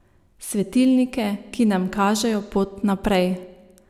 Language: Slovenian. Svetilnike, ki nam kažejo pot naprej.